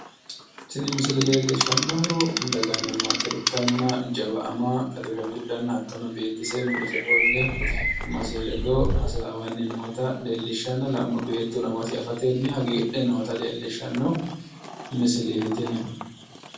Tini misile leellishshannohu daganna maate ikkanna jawa ama ado shaffidhanna hattono beettise mulese ofolle amasi ledo hasaawanni nootaa la"ummo beettuno amasi afatenni hagiidhe noota leellishshanno misileeti tini.